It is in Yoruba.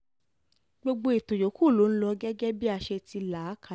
gbogbo ètò yòókù ló ń lò gẹ́gẹ́ bí a ṣe ti là á kalẹ̀